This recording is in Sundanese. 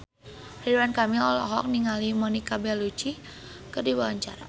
Ridwan Kamil olohok ningali Monica Belluci keur diwawancara